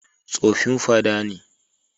Tsofin fada ne.